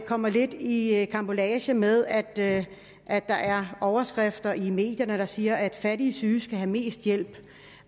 kommer lidt i karambolage med at at der er overskrifter i medierne der siger at fattige syge skal have mest hjælp